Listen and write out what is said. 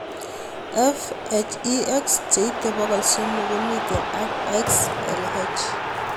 PHEX cheite pokol somok ko mito ak XLH